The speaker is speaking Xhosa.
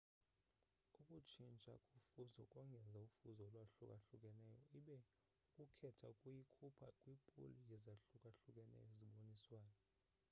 ukutshintsha kofuzo kongeza ufuzo olwahlukahlukeneyo, ibe ukukhetha kuyikhupha kwipuli yezahlukahlukeneyo ezibonisiweyo